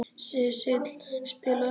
Sesil, spilaðu tónlist.